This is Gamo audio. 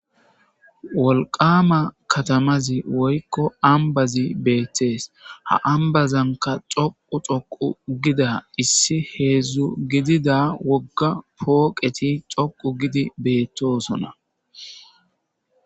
wolqama katamazi woykko ambazi beettees ha ambazanka xoqu xoqu gida issi heedzdzu gidida wogga pooqeti coqu gidi beettoosona